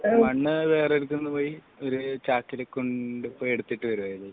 മണ്ണ് വേറൊരു സ്ഥലതു പോയി ഒരു ചാക്കിൽ എടുത്തിട്ട് വരികയാണ് ചെയ്തത്